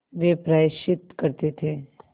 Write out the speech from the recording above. वे प्रायश्चित करते थे